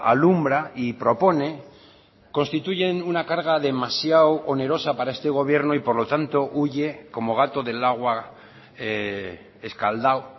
alumbra y propone constituyen una carga demasiado onerosa para este gobierno y por lo tanto huye como gato del agua escaldado